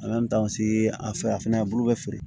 a fɛ a fɛnɛ bulu be feere